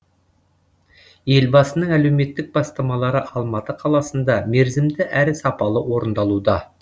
елбасының әлеуметтік бастамалары алматы қаласында мерзімді әрі сапалы орындалуда